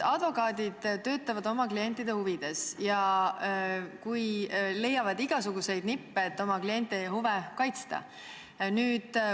Advokaadid töötavad oma klientide huvides ja leiavad igasuguseid nippe, et oma klientide huve kaitsta.